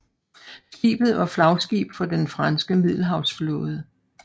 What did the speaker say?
Skibet var flagskib for den franske Middelhavsflåde